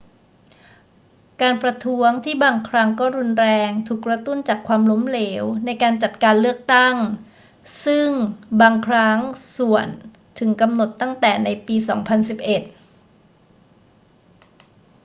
การประท้วงที่บางครั้งก็รุนแรงถูกกระตุ้นจากความล้มเหลวในการจัดการเลือกตั้ง ซึ่งบางครั้งส่วนถึงกำหนดตั้งแต่ในปี 2011